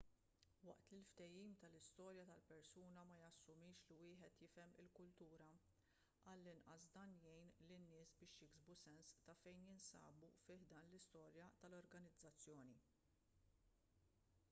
waqt li l-fehim tal-istorja tal-persuna ma jassumix li wieħed jifhem il-kultura għall-inqas dan jgħin lin-nies biex jiksbu sens ta' fejn jinsabu fi ħdan l-istorja tal-organizzazzjoni